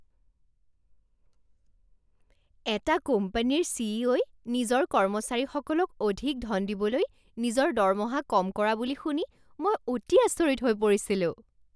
এটা কোম্পানীৰ চি.ই.অ.'ই নিজৰ কৰ্মচাৰীসকলক অধিক ধন দিবলৈ নিজৰ দৰমহা কম কৰা বুলি শুনি মই অতি আচৰিত হৈ পৰিছিলোঁ।